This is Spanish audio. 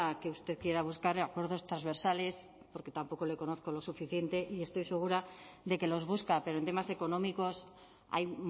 que usted quiera buscar acuerdos transversales porque tampoco le conozco lo suficiente y estoy segura de que los busca pero en temas económicos hay